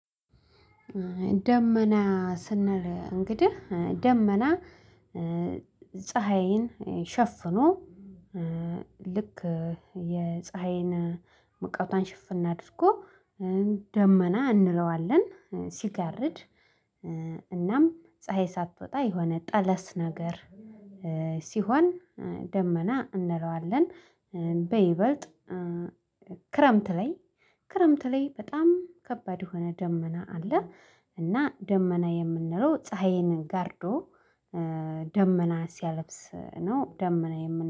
ደመና ስንል እንግዲህ ደመና ፀሀይን ሸፍኖ ልክ የፀሀይን መቃወቷን ሽፍን አድርጎ ደመና እንለዋለን ሲጋርድ እናም ፀሀይ ሳትወጣ የሆነ ጠለስ ነገር ሲሆን ደመና እንለዋለን። በይበልጥ ክረምት ላይ ክረምት ላይ በጣም ከባድ የሆነ ደመና አለ። እና ደመና የምንለው ፀሀይን ጋርዶ ደመና ሲያለብስ ነው ደመና የምን